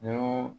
Ni